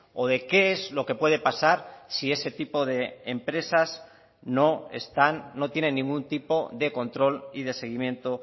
o de qué es lo que puede pasar si ese tipo de empresas no están no tienen ningún tipo de control y de seguimiento